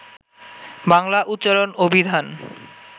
বাংলা উচ্চারণ অভিধান